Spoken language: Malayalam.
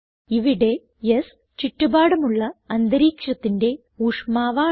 ഇവിടെ S ചുറ്റുപാടുമുള്ള അന്തരീക്ഷത്തിന്റെ ഊഷ്മാവ് ആണ്